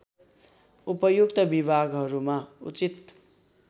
उपयुक्त विभागहरूमा उचित